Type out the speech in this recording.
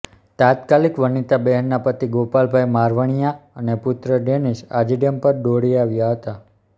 તાત્કાલિક વનીતાબહેનના પતિ ગોપાલભાઈ મારવાણીયા અને પુત્ર ડેનીસ આજીડેમ પર દોડી આવ્યા હતા